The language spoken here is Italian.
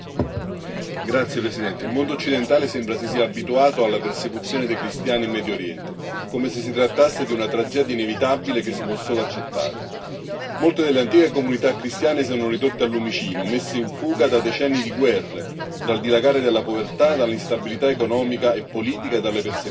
Signora Presidente, onorevoli colleghi, il mondo occidentale sembra si sia abituato alla persecuzione dei cristiani in Medio Oriente, come se si trattasse di una tragedia inevitabile che si può solo accettare. Molte delle antiche comunità cristiane sono ridotte al lumicino, messe in fuga da decenni di guerre, dal dilagare della povertà, dall'instabilità economica e politica e dalle persecuzioni.